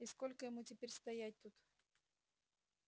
и сколько ему теперь стоять тут